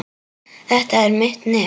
Þetta er mitt nef.